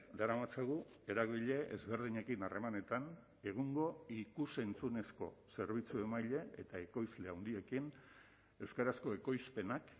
daramatzagu eragile ezberdinekin harremanetan egungo ikus entzunezko zerbitzu emaile eta ekoizle handiekin euskarazko ekoizpenak